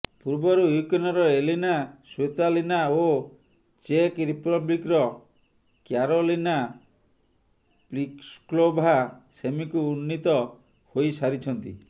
ପୂର୍ବରୁ ୟୁକ୍ରେନର Elina Svitolina ଓ ଚେକ୍ ରିପବ୍ଲିକ୍ର କ୍ୟାରୋଲିନା ପ୍ଲିସ୍କୋଭା ସେମିକୁ ଉନ୍ନୀତ ହୋଇସାରିଛନ୍ତି